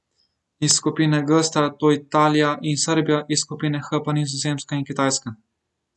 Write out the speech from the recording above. Iz skupine G sta to Italija in Srbija, iz skupine H pa Nizozemska in Kitajska.